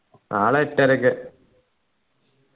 നാളെ എട്ടരയ്ക്ക്